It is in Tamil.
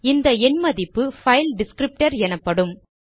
இந்த எண் மதிப்பு பைல் டிஸ்க்ரிப்டர் எனப்படும்